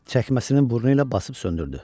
Çəkməsinin burnu ilə basıb söndürdü.